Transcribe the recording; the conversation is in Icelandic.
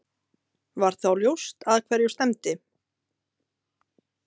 Var þá ljóst að hverju stefndi.